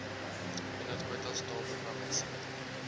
inhoudkwotas taal programuitsending